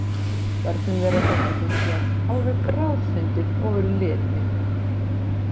Börnum þeirra þótti þetta hinsvegar alveg bráðfyndið og Ulli einnig.